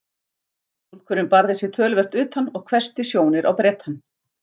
Túlkurinn barði sig töluvert utan og hvessti sjónir á Bretann.